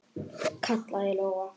kallaði Lóa.